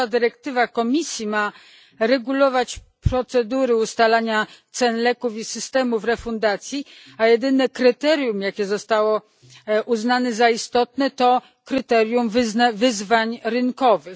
Nowa dyrektywa Komisji ma regulować procedury ustalania cen leków i systemy refundacji, a jedyne kryterium, jakie zostało uznane za istotne, to kryterium wyzwań rynkowych.